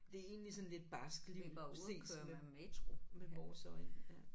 Det er egentlig sådan et lidt barskt liv set med med vores øjne ja